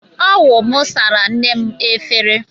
Ọ wụ mụ sara nne m efere.